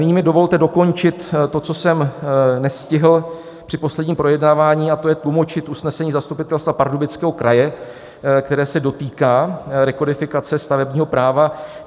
Nyní mi dovolte dokončit to, co jsem nestihl při posledním projednávání, a to je tlumočit usnesení Zastupitelstva Pardubického kraje, které se dotýká rekodifikace stavebního práva.